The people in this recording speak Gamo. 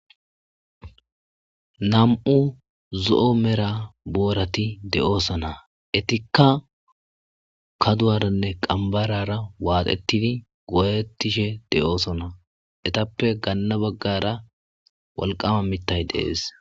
nam7u zo7o mera boorati de7oosona etikka kaduwaranne qambarara waaxettidi gootettishe de7oosona etappe ganna baggara walqama mittay deees